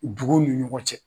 Duguw ni ɲɔgɔn cɛ.